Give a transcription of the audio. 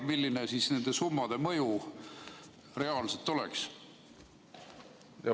Milline nende summade mõju reaalselt oleks?